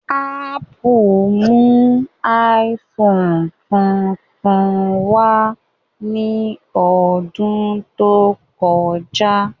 Ápù mú iPhone tuntun wá ní ọdún tó kọjá